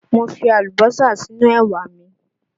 Mo fi Àlùbọ́sà sínú ẹwà mi